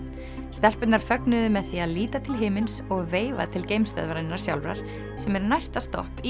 stelpurnar fögnuðu með því að líta til himins og veifa til sjálfrar sem er næsta stopp í